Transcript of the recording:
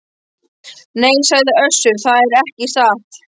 Nei, sagði Össur, það er ekki satt.